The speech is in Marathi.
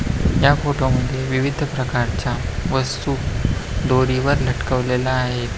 ह्या फोटो मध्ये विविध प्रकारच्या बस्तू डोरी वर लटकवलेल्या आहेत.